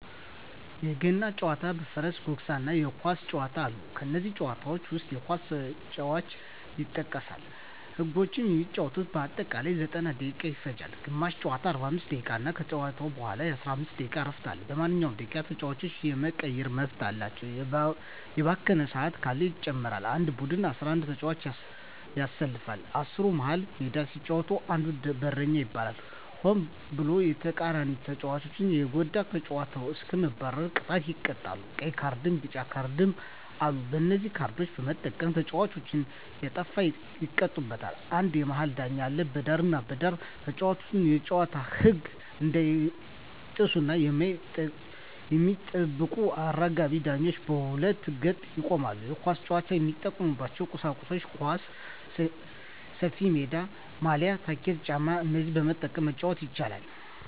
በገና ጨዋታ በፈረስ ጉግስ እና የኳስ ጨዋታ አሉ ከነዚህም ጨዋታዎች ዉስጥ የኳስ ጨዋታ ይጠቀሳል ህጎችም የሚጫወቱበት በአጠቃላይ 90ደቂቃ ይፈጃል ግማሽ ጨዋታ 45 ደቂቃ ነዉ ከተጫወቱ በኋላ የ15 ደቂቃ እረፍት አለዉ በማንኛዉም ደቂቃ ተጫዋች የመቀየር መብት አለ የባከነ ሰአት ካለ ይጨመራል አንድ ቡድን 11ተጫዋቾችን ያሰልፋል አስሩ መሀል ሜዳ ሲጫወት አንዱ ደግሞ በረኛ ይባላል ሆን ብሎ የተቃራኒተጫዋቾችን ከተጎዳ ከጨዋታዉ እስከ መባረር ቅጣት ይቀጣሉ ቀይ ካርድና ቢጫ ካርድ አሉ በነዚህ ካርዶች በመጠቀም ተጫዋቾች ሲያጠፉ ይቀጡበታል አንድ የመሀል ዳኛ አለ በዳርና በዳር ተጫዋቾች የጨዋታዉን ህግ እንዳይጥሱ የሚጠብቁ አራጋቢ ዳኞች በሁለት ገጥ ይቆማሉ የኳስ ጫዋች የሚጠቀሙበት ቁሳቁሶች ኳስ፣ ሰፊሜዳ፣ ማልያ፣ ታኬታ ጫማ እነዚህን በመጠቀም መጫወት ይቻላል